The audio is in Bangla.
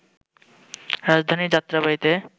রাজধানীর যাত্রাবাড়ীতে